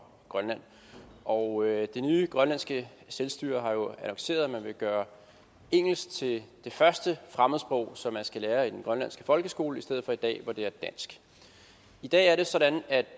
og grønland og det nye grønlandske selvstyre har jo annonceret at man vil gøre engelsk til det første fremmedsprog som man skal lære i den grønlandske folkeskole i stedet for i dag hvor det er dansk i dag er det sådan at